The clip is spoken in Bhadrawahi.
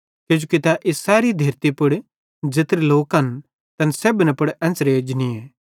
किजोकि तै इस सैरी धेरती पुड़ ज़ेत्रे लोकन तैन सेब्भन पुड़ एन्च़रे एजनीए